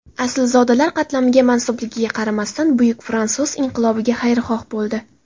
Aslzodalar qatlamiga mansubligiga qaramasdan buyuk fransuz inqilobiga xayrixoh bo‘ldi.